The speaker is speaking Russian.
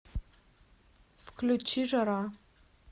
включи жара